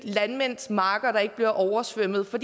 landmændenes marker der ikke bliver oversvømmet for